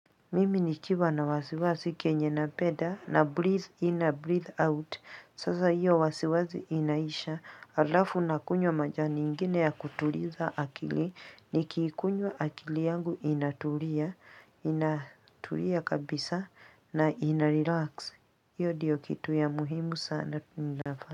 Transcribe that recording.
Mimi nikiwa na wasiwasi kenye napenda na breathe na breathe out sasa hiyo wasiwasi inaisha alafu nakunywa majani ingine ya kutuliza akili nikiikunywa akili yangu inatulia kabisa na ina relax hiyo ndiyo kitu ya muhimu sana tunafaa.